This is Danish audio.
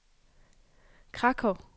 Krakow